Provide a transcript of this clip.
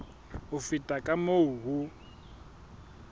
ho feta ka moo ho